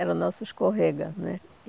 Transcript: Era o nosso escorrega né.